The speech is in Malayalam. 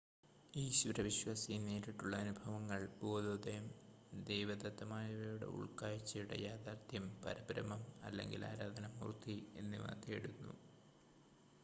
ഈശ്വര വിശ്വാസി നേരിട്ടുള്ള അനുഭവങ്ങൾ ബോധോദയം ദൈവദത്തമായവയുടെ ഉൾക്കാഴ്ചയുടെ യാഥാർത്ഥ്യം പരബ്രഹ്മം അല്ലെങ്കിൽ ആരാധനാമൂർത്തി എന്നിവ തേടുന്നു